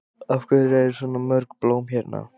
Af hverju eru svona mörg blóm hérna?